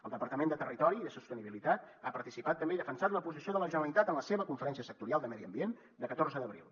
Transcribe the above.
el departament de territori i sostenibilitat ha participat també i defensat la posició de la generalitat en la seva conferència sectorial de medi ambient de catorze d’abril